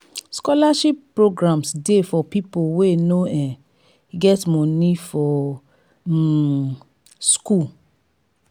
scholarship programmes de for pipo wey no um get moni for um school